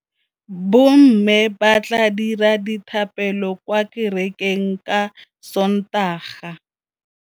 Bommê ba tla dira dithapêlô kwa kerekeng ka Sontaga.